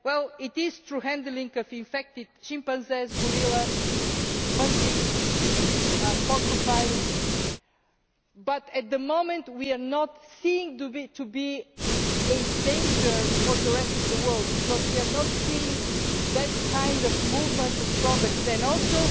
Well, it is through the handling of infected chimpanzees, gorillas, monkeys, porcupines, but at the moment we are not seeing it as a danger for the rest of the world because we are not seeing that kind of movement of products. Also